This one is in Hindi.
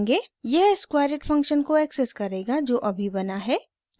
यह squareit फंक्शन को एक्सेस करेगा जो अभी बना है